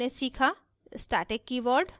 इस tutorial में हमने सीखा